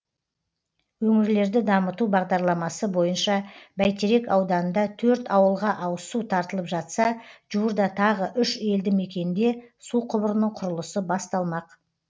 өңірлерді дамыту бағдарламасы бойынша бәйтерек ауданында төрт ауылға ауызсу тартылып жатса жуырда тағы үш елді мекенде су құбырының құрылысы басталмақ